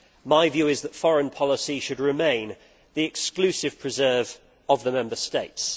My view is that foreign policy should remain the exclusive preserve of the Member States.